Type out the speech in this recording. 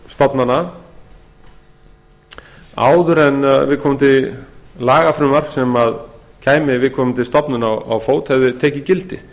stofnana áður en viðkomandi lagafrumvarp sem kæmi viðkomandi stofnun á fót hefði tekið gildi